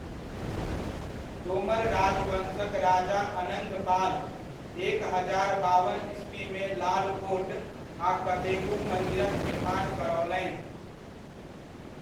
तोमर राजवंशक राजा अनङ्ग पाल, एक हजार बावन ईस्वीमे लाल कोट आ कतेको मन्दिरक निर्माण करओलनि।